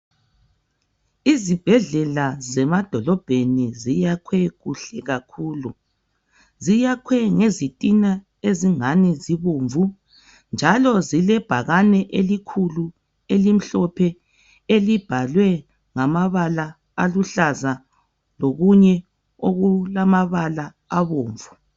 Izibhedlela zemadolobheni ziyakhwe kuhle kakhulu. Ziyakhwe ngezitina ezingani zibomvu njalo zilebhakani elikhulu elimhlophe elibhalwe ngamabala aluhlaza lokunye okulamabala abomvu.